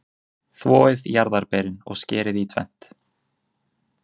Þvoið jarðarberin og skerið í tvennt.